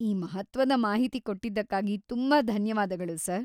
ಈ ಮಹತ್ತ್ವದ ಮಾಹಿತಿ ಕೊಟ್ಟಿದ್ದಕ್ಕಾಗಿ ತುಂಬಾ ಧನ್ಯವಾದಗಳು ಸರ್.